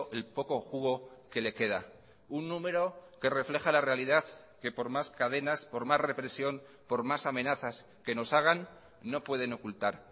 el poco jugo que le queda un número que refleja la realidad que por más cadenas por más represión por más amenazas que nos hagan no pueden ocultar